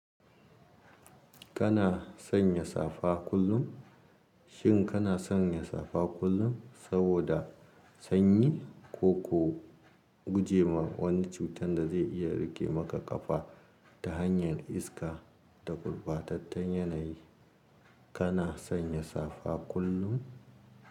Kana sanya safa kullum? Shin kana sanya safa kullum saboda sanyi koko? Guje wa wani cutar da zai iya riƙe maka ƙafa ta hanyar iska da gurɓatattun yanayi? Kana sanya safa kullum?